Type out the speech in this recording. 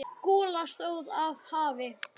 Gola stóð af hafi.